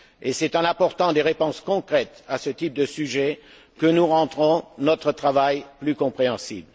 C'est en apportant des réponses concrètes à ce type de question que nous rendrons notre travail plus compréhensible.